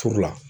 Furu la